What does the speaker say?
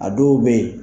A dɔw bɛ yen